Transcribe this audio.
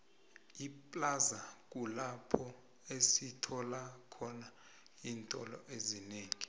iplaza kulapho esitholakhona iintolo ezinengi